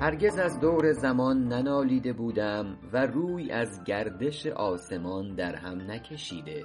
هرگز از دور زمان ننالیده بودم و روی از گردش آسمان در هم نکشیده